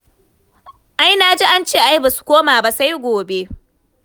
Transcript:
Ai na ji an ce wai ba su koma ba sai gobe.